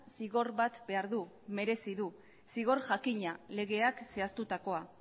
zigor bat behar du merezi du zigor jakina legeak zehaztutakoa